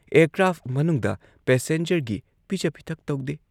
Aircraft ꯃꯅꯨꯡꯗ ꯄꯦꯁꯦꯟꯖꯔꯒꯤ ꯄꯤꯖ ꯄꯤꯊꯛ ꯇꯧꯗꯦ ꯫